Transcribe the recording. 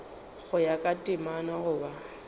go ya ka temana goba